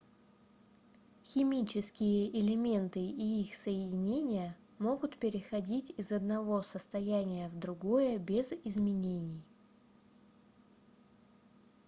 химические элементы и их соединения могут переходить из одного состояния в другое без изменений